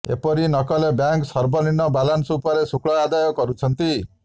ଏପରି ନକଲେ ବ୍ୟାଙ୍କ ସର୍ବନିମ୍ନ ବାଲାନ୍ସ ଉପରେ ଶୁଳ୍କ ଆଦାୟ କରୁଛନ୍ତି